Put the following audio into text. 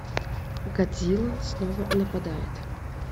годзилла снова нападает